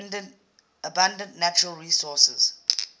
abundant natural resources